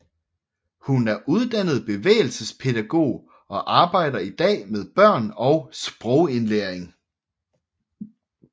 Hun er uddannet bevægelsespædagog og arbejder i dag med børn og sprogindlæring